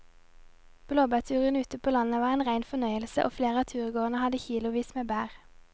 Blåbærturen ute på landet var en rein fornøyelse og flere av turgåerene hadde kilosvis med bær.